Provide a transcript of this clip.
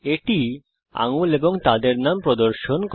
এটি আঙুল এবং তাদের নাম প্রদর্শন করে